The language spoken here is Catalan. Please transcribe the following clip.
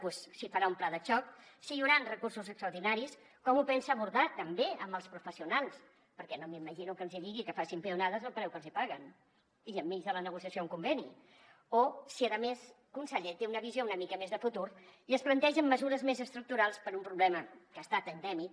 doncs si farà un pla de xoc si hi hauran recursos extraordinaris com ho pensa abordar també amb els professionals perquè no m’imagino que els hi digui que facin peonades al preu que els hi paguen i enmig de la negociació d’un conveni o si a més conseller té una visió una mica més de futur i es plantegen mesures més estructurals per a un problema que ha estat endèmic